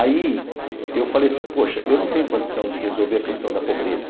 Aí eu falei assim, poxa, eu não tenho condição de resolver a questão da pobreza.